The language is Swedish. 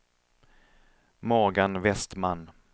Morgan Westman